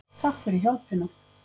Takk fyrir hjálpina.